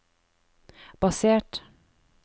basert